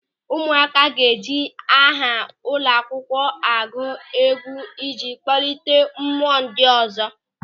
Ụmụaka ga-eji aha ụlọakwụkwọ agụ egwu ịji kpọlite mmụọ ndị ọzọ.